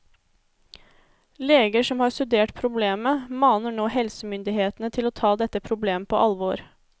Leger som har studert problemet maner nå helsemyndighetene til å ta dette problemet på alvor.